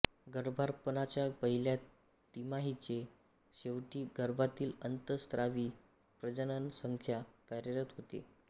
गर्भारपणाच्या पहिल्या तिमाहीच्या शेवटी गर्भातील अंतःस्रावी प्रजननसंस्था कार्यरत होते